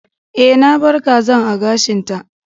Eh, na bar kazan a gashin ta.